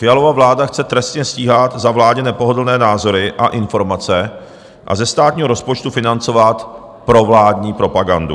Fialova vláda chce trestně stíhat za vládě nepohodlné názory a informace a ze státního rozpočtu financovat provládní propagandu.